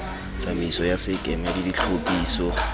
tsamaiso ya sekema le ditlhophiso